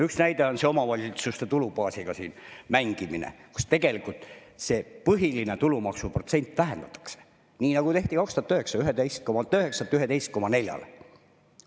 Üks näide on see omavalitsuste tulubaasiga mängimine, mille puhul tegelikult seda tulumaksu protsenti vähendatakse, nii nagu tehti 2009: 11,9-lt 11,4-le.